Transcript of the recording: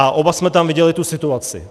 A oba jsme tam viděli tu situaci.